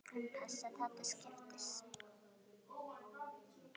Við skulum passa það til skiptis.